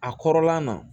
A kɔrɔla na